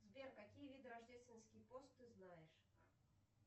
сбер какие виды рождественский пост ты знаешь